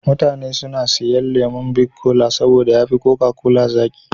Mutane suna siyan lemon bik kola saboda ya fi koka kola sauƙi.